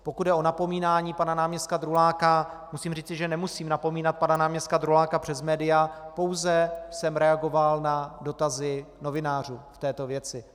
Pokud jde o napomínání pana náměstka Druláka, musím říci, že nemusím napomínat pana náměstka Druláka přes média, pouze jsem reagoval na dotazy novinářů v této věci.